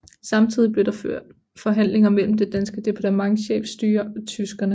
Samtidig blev der ført forhandlinger mellem det danske departementchefstyre og tyskerne